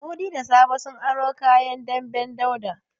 Mudi da Sabo sun aro kayan damben Dauda.